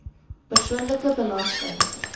persoonlike belasting